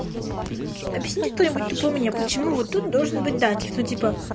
объясните кто-нибудь тупо мне почему вот тут должен быть дать ну типо